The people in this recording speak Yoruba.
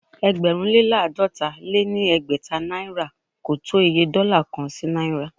ẹgbẹ̀rún lé láàdọ́ta lé ní ẹgbẹ́ta náìrà ko tó Iye dọ́là kan sí náìrà.